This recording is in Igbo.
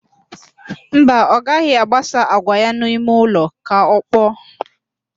Mba, ọ gaghị agbasa àgwà ya n'ime ụlọ ka ọkpọọ